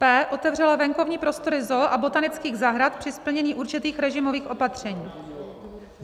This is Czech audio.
p) otevřela venkovní prostory ZOO a botanických zahrad při splnění určitých režimových opatření.